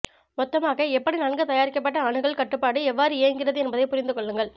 மொத்தமாக எப்படி நன்கு தயாரிக்கப்பட்ட அணுகல் கட்டுப்பாடு எவ்வாறு இயங்குகிறது என்பதை புரிந்து கொள்ளுங்கள்